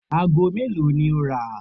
Aago mélòó ni ó rà?